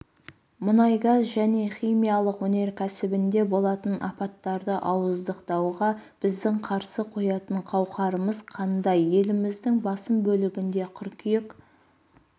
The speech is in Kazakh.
мұнай-газ және химиялық өнеркәсібінде болатын апаттарды ауыздықтауға біздің қарсы қоятын қауқарымыз қандай еліміздің басым бөлігінде қыркүйек